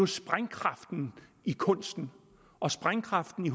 sprængkraften i kunsten og sprængkraften